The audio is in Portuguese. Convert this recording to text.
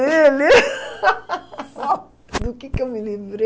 Ele... Do que eu me livrei?